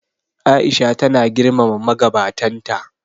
A'isha tana girmama magabatan ta.